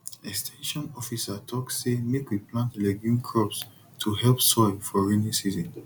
ex ten sion officer talk say make we plant legume crops to help soil for rainy season